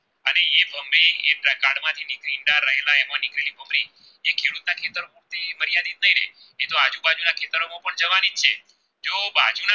જીવવાણી છે તેઓ બાજુ ના